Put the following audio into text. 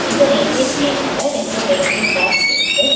இந்த ரயில்வே ஸ்டேஷன்ல ரெண்டு ரயில்வே டிராக்ஸ் இருக்கு.